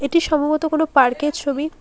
এটি সম্ভবত কোনো পার্কের ছবি।